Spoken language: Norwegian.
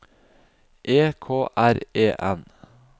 E K R E N